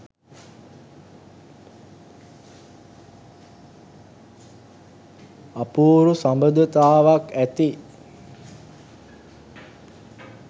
අපූරු සබඳතාවක් ඇති